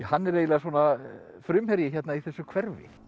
hann er eiginlega svona frumherji í þessu hverfi